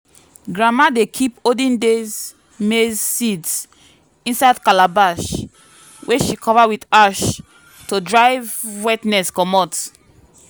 grandma dey keep olden days maize seeds inside calabash wey she cover with ash to drive wetness comot.